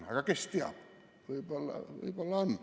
Aga kes teab, võib-olla on?